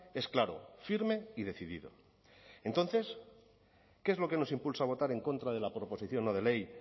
es claro firme y decidido entonces qué es lo que nos impulsa a votar en contra de la proposición no de ley